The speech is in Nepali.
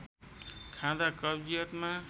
खाँदा कब्जियतमा